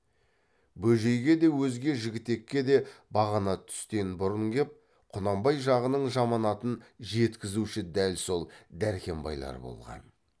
бөжейге де өзге жігітекке де бағана түстен бұрын кеп құнанбай жағының жаманатын жеткізуші дәл сол дәркембайлар болған